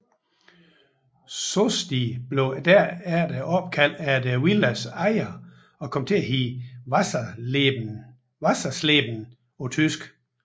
Sosti blev derefter opkaldt efter villaens ejer og kom til at hedde Wassersleben på tysk